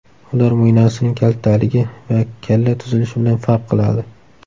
Ular mo‘ynasining kaltaligi va kalla tuzilishi bilan farq qiladi.